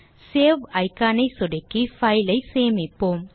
save icon ஐ சொடுக்கி file ஐ சேமிப்போம்